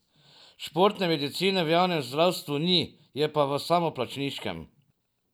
Športne medicine v javnem zdravstvu ni, je pa v samoplačniškem.